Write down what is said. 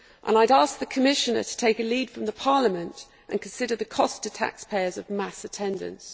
I would ask the Commissioner to take a lead from Parliament and consider the cost to taxpayers of mass attendance.